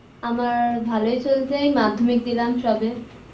আমার ভালোই চলছে এই মাধ্যমিক দিলাম সবে